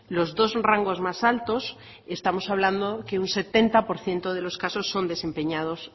los dos rangos más altos estamos hablando que un setenta por ciento de los casos son desempeñados